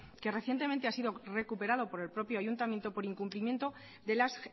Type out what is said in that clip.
que recientemente ha sido recuperado por el propio ayuntamiento por incumplimiento de las